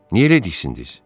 Niyə elə diksindiz?